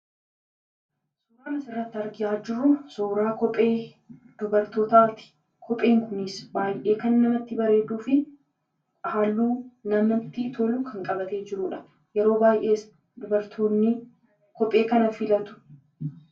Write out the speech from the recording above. Suuraan asirratti argaa jirru, suuraa kophee dubartootaati. Kopheen kunis baayyee kan namatti bareeduu fi halluu kan namatti tolu qabatee jirudha. Yeroo baayyees dubartoonni kophee kana filatu.